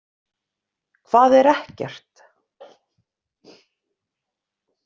HVAÐ ER EKKERT?